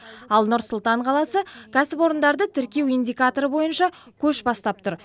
ал нұр сұлтан қаласы кәсіпорындарды тіркеу индикаторы бойынша көш бастап тұр